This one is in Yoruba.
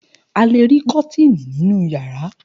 A le rí kọ́tíìnì nínú ìyàrá.